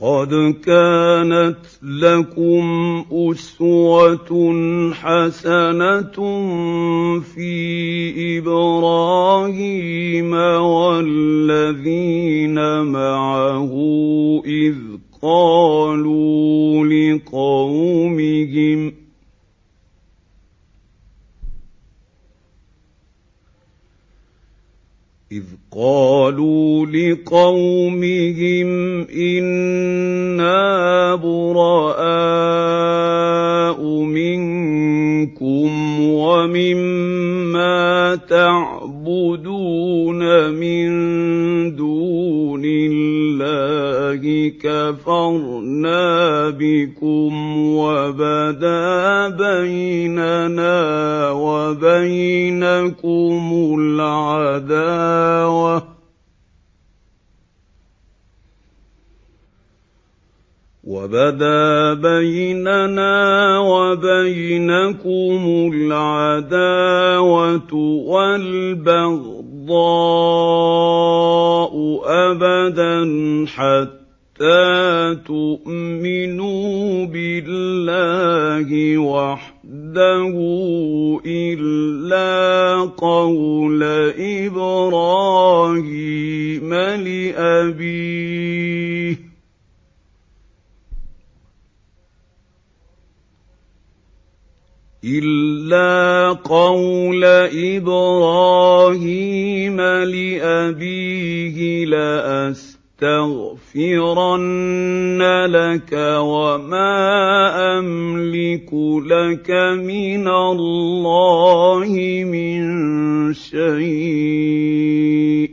قَدْ كَانَتْ لَكُمْ أُسْوَةٌ حَسَنَةٌ فِي إِبْرَاهِيمَ وَالَّذِينَ مَعَهُ إِذْ قَالُوا لِقَوْمِهِمْ إِنَّا بُرَآءُ مِنكُمْ وَمِمَّا تَعْبُدُونَ مِن دُونِ اللَّهِ كَفَرْنَا بِكُمْ وَبَدَا بَيْنَنَا وَبَيْنَكُمُ الْعَدَاوَةُ وَالْبَغْضَاءُ أَبَدًا حَتَّىٰ تُؤْمِنُوا بِاللَّهِ وَحْدَهُ إِلَّا قَوْلَ إِبْرَاهِيمَ لِأَبِيهِ لَأَسْتَغْفِرَنَّ لَكَ وَمَا أَمْلِكُ لَكَ مِنَ اللَّهِ مِن شَيْءٍ ۖ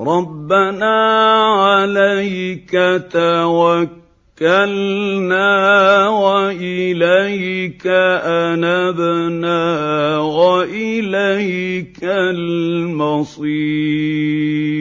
رَّبَّنَا عَلَيْكَ تَوَكَّلْنَا وَإِلَيْكَ أَنَبْنَا وَإِلَيْكَ الْمَصِيرُ